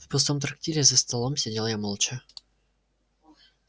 в пустом трактире за столом сидел я молча